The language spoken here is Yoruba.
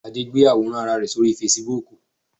Adé gbé àwòrán Ara rẹ̀ sí orí Fesibuúkù